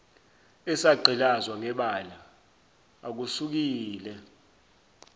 esagqilazwa ngebala akusukile